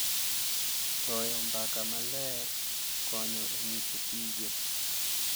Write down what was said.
Goyo mbaka maler konyo e nyiso tije,